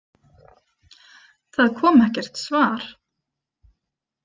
Það kom ekkert svar.